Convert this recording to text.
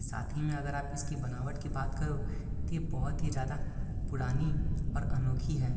साथ ही में अगर आप इसकी बनावट की बात करो तो ये बहोत ही ज्यादा पुरानी और अनोखी है।